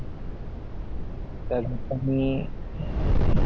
त्यांनतर मी